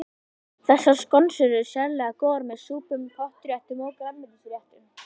Þessar skonsur eru sérlega góðar með súpum, pottréttum og grænmetisréttum.